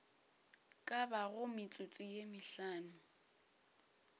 ka bago metsotso ye mehlano